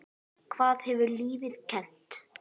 Hvað hefur lífið kennt þér?